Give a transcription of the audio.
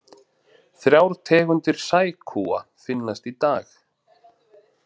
Þrjár tegundir sækúa finnast í dag.